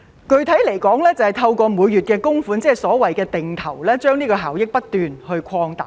具體來說，就是透過每月供款，即所謂的"定投"，將效益不斷擴大。